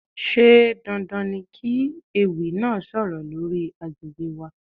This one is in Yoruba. Ṣé dandan ni kí ewì náà sọ̀rọ̀ lórí àgbègbè wa?